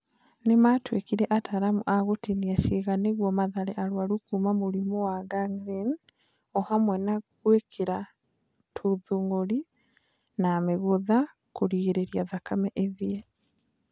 Nĩ maatuĩkire ataaramu a gũtinia ciĩga nĩguo mathare arũaru kuuma mũrimũ-inĩ wa gangrene, o hamwe na gwĩkĩra tũthũngũri na mĩgũtha ya kũgiria thakame ĩthiĩ..